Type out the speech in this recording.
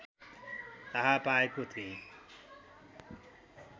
थाहा पाएको थिएँ